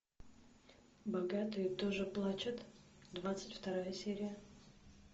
богатые тоже плачут двадцать вторая серия